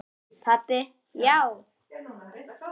Pabbi, já!